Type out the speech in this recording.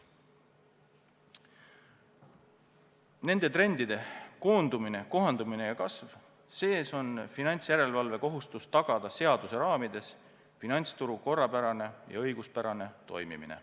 Nende trendide – koondumine, kohandumine ja kasv – sees on finantsjärelevalve kohustus tagada seaduse raamides finantsturu korrapärane ja õiguspärane toimimine.